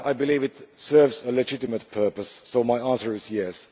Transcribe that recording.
I believe it serves a legitimate purpose, so my answer is yes.